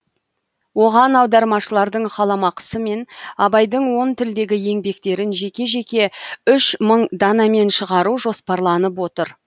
оған аудармашылардың қаламақысы мен абайдың он тілдегі еңбектерін жеке жеке үш мың данамен шығару жоспарланып отыр